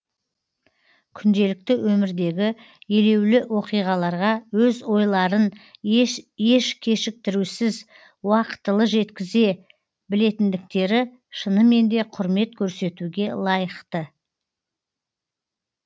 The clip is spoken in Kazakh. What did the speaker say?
күнделікті өмірдегі елеулі оқиғаларға өз ойларын еш кешіктірусіз уақытылы жеткізе білетіндіктері шынымен де құрмет көрсетуге лайықты